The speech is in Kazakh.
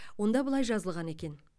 онда былай жазылған екен